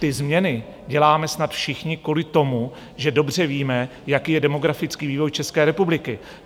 Ty změny děláme snad všichni kvůli tomu, že dobře víme, jaký je demografický vývoj České republiky.